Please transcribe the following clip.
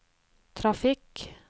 trafikk